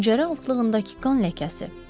Pəncərə altlığındakı qan ləkəsi?